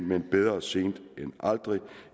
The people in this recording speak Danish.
men bedre sent end aldrig